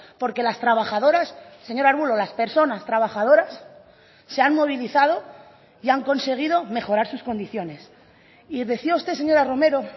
porque las trabajadoras señor arbulo las personas trabajadoras se han movilizado y han conseguido mejorar sus condiciones y decía usted señora romero